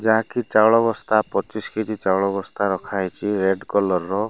ଯାହାକି ଚାଉଳ ବସ୍ତା ପଚିଶ କେ-ଜି ଚାଉଳ ବସ୍ତା ରଖା ହେଇଚି ରେଡ୍ କଲର ର।